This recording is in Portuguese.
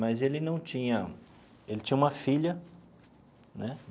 Mas ele não tinha... ele tinha uma filha, né?